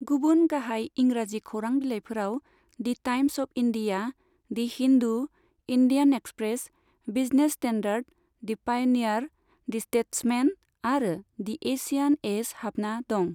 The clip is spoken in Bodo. गुबुन गाहाय इंराजि खौरां बिलाइफोराव the Times of India, the Hindu, Indian Express, Business Standard, the Pioneer, the Statesman आरो दि एशियान एज हाबना दं।